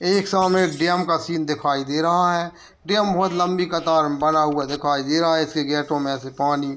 एक सामने एक डैम का सीन दिखाई दे रहा है डैम बहुत लंबी कतार में बना हुआ दिखाई दे रहा है इसके गेटो में से पानी --